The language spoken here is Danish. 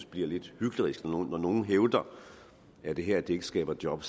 bliver lidt hyklerisk når nogle hævder at det her ikke skaber job